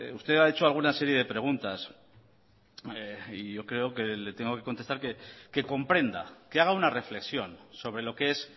usted ha hecho alguna serie de preguntas y yo creo que le tengo que contestar que comprenda que haga una reflexión sobre lo que es